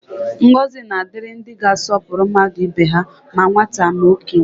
Ngọzi na-adịrị ndị ga-asọpụrụ mmadụ ibe ha, ma nwata ma okenye